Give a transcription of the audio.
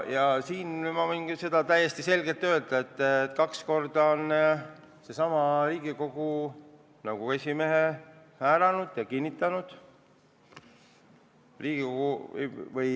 Ja seda ma võin küll täie selgusega öelda, et kaks korda on Riigikogu selle nõukogu esimehe ametisse kinnitanud.